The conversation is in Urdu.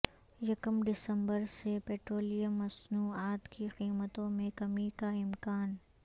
یکم دسمبر سے پیٹرولیم مصنوعات کی قیمتوں میں کمی کا امکان